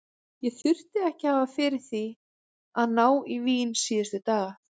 Ég þurfti ekki að hafa fyrir því að ná í vín síðustu dagana.